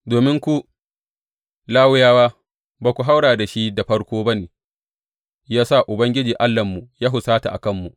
Domin ku, Lawiyawa ba ku haura da shi da farko ba ne ya sa Ubangiji Allahnmu ya husata a kanmu.